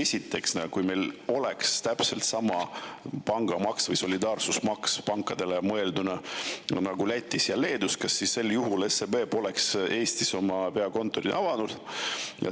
Esiteks, kui meil oleks täpselt sama pangamaks või pankade solidaarsusmaks nagu Lätis ja Leedus, kas sel juhul SEB Eestis oma peakontorit ei avaks?